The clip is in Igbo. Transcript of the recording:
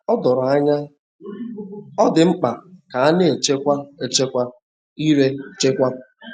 O doro anya,ọ dị mkpa ka a na - echekwa echekwa ire echekwa.